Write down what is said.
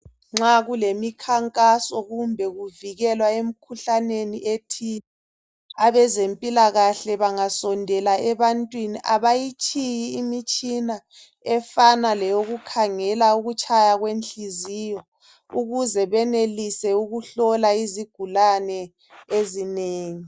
Nxa kulemikhankaso kumbe kuvikelwa emkhuhlaneni ethile abezempilakahle bangasondela ebantwini abayitshiyi imitshina efana leyokukhangela ukutshaya kwenhliziyo ukuze benelise ukuhlola izigulane ezinengi.